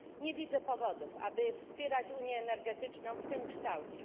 Nie widzę powodów, aby wspierać unię energetyczną w tym kształcie.